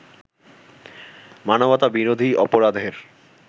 মানবতা বিরোধী অপরাধের